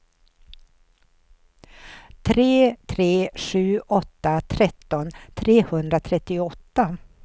tre tre sju åtta tretton trehundratrettioåtta